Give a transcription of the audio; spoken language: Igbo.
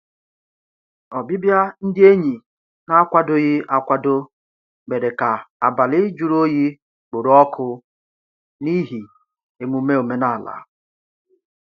Ọbịbịa ndị enyi n'akwadoghị akwado mèrè ka abalị jụrụ oyi kporo ọkụ n'ihi emume omenala.